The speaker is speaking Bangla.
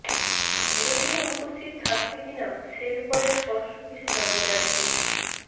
বিরোধীরা উপস্থিত থাকবে কিনা সেব্যাপারে স্পষ্ট কিছু জানা যায়নি